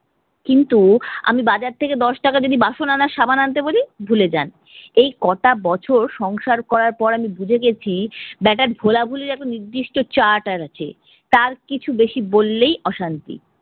কিন্তু আমি বাজার থেকে দশ টাকা যদি বাসন আনার সাবান আনতে বলি ভুলে যান। এই কোটা বছর সংসার করার পর আমি বুঝতে গেছি বেটার ভোলা ভুলির একটা নির্দিষ্ট chart আর আছে, তার কিছু বেশি বললেই অশান্তি।